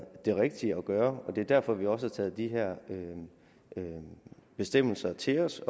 det rigtige at gøre og det er derfor vi også har taget de her bestemmelser til os